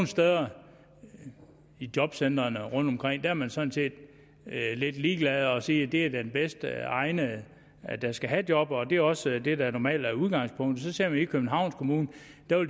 steder i jobcentrene rundtomkring er man sådan set lidt ligeglad og siger at det er den bedst egnede der skal have jobbet og det er også det der normalt er udgangspunktet så ser man i københavns kommune